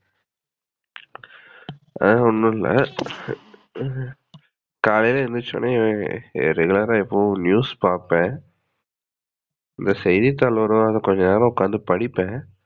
ஆஹ் ஒன்னும் இல்ல. காலைல எந்துருச்ச உடனே regular ஆஹ் எப்பவும் news பாப்பேன். இங்க செய்திதாள் வரும் அத கொஞ்ச நேரம் உக்காந்து படிப்பேன்.